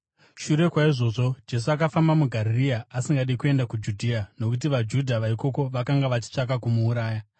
Shure kwaizvozvo, Jesu akafamba muGarirea, asingadi kuenda kuJudhea nokuti vaJudha vaikoko vakanga vachitsvaka kumuuraya.